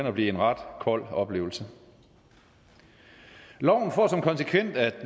og blive en ret kold oplevelse loven får som konsekvens at